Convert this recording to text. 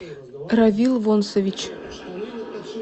равил вонсович